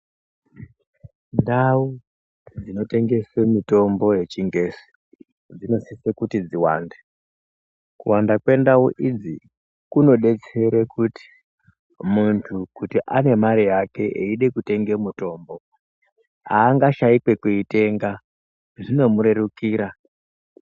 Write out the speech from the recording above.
Ndau dzinotengesa mitombo yechingezi, inosisa kuti iwande. Kuwanda kwendau idzi kunodetsera kuti mundu kuti ame mare yake eida kutenga mutombo aangashayi kwekuitenga zvinomurerukira.